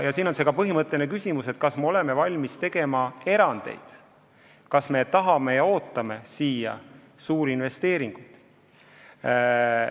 Ja on ka põhimõtteline küsimus, kas me oleme valmis tegema erandeid, kui me tahame siia suurinvesteeringuid.